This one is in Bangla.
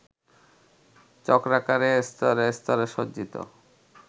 চক্রাকারে স্তরে স্তরে সজ্জিত